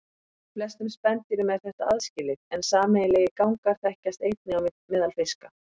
Hjá flestum spendýrum er þetta aðskilið en sameiginlegir gangar þekkjast einnig á meðal fiska.